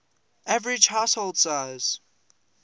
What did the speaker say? average household size